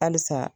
Halisa